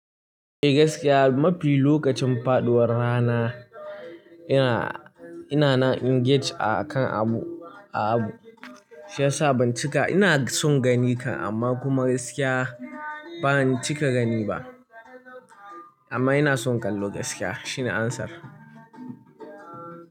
Eh gaskiya mafi lokacin faɗuwar rana ina, ina na engage akan abu, a abu shiyasa ban cika, ina son gani ka amma kuma gaskiya ba zan cika gani ba. Amma ina son kallo gaskiya shine answer.